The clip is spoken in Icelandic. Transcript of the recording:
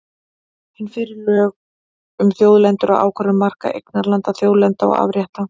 Hin fyrri voru lög um þjóðlendur og ákvörðun marka eignarlanda, þjóðlendna og afrétta.